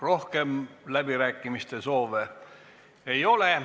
Rohkem läbirääkimise soovi ei ole.